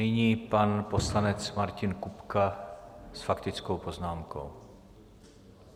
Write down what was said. Nyní pan poslanec Martin Kupka s faktickou poznámkou.